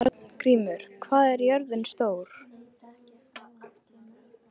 Arngrímur, hvað er jörðin stór?